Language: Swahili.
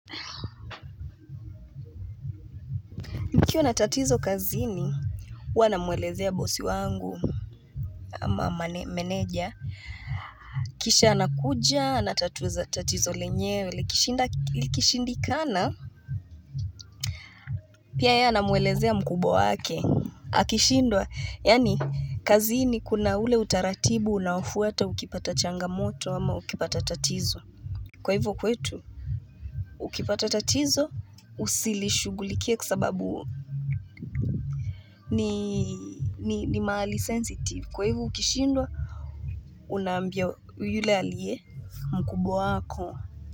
Nikiwa natatizo kazini, huwa namuelezea bosi wangu ama meneja kisha anakuja anatatuza tatizo lenyewe likishinda likishindikana Pia ye anamuelezea mkubwa wake akishindwa, yani kazini kuna ule utaratibu unaoufuata ukipata changamoto ama ukipata tatizo, kwa hivyo kwetu Ukipata tatizo usilishugulikie kwasababu, ni, ni mahali sensitive kwa hivyo ukishindwa Una ambia, yule alie, mkubwa wako.